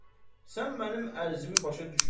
sən mənim ərzimi başa düşmədin.